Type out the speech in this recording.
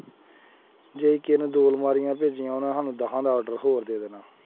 ਜੇ ਕਿਸੇ ਨੂੰ ਦੋ ਅਲਮਾਰੀਆਂ ਭੇਜੀਆਂ ਉਹਨੇ ਸਾਨੂੰ ਦਸਾਂ ਦਾ order ਹੋਰ ਦੇ ਦੇਣਾ।